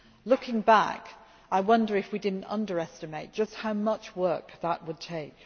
Looking back, I wonder if we did not underestimate just how much work that would take.